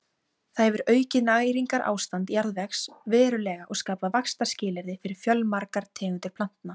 Það hefur aukið næringarástand jarðvegs verulega og skapað vaxtarskilyrði fyrir fjölmargar tegundir plantna.